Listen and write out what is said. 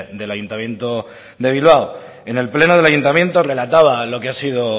del ayuntamiento de bilbao en el pleno del ayuntamiento relataba lo que ha sido